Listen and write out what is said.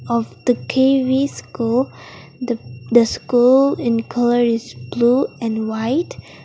of the K_V school the school in colour is blue and white.